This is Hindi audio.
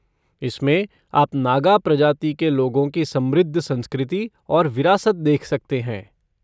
इसमें आप नागा प्रजाति के लोगों की समृद्ध संस्कृति और विरासत देख सकते हैं।